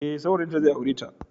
Ee, saurayinta zai aure ta.